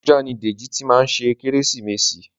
Abuja ni Deji tí má ṣe Kérésìmesì